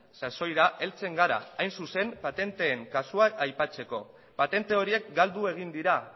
sasoira heltzen gara hain zuzen patenteen kasua aipatzeko patente horiek galdu egin dira